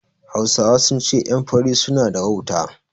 Hausawa sun ce ƴan fari su na da wauta